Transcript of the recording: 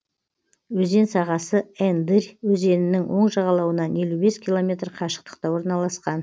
өзен сағасы ендырь өзенінің оң жағалауынан елу бес километр қашықтықта орналасқан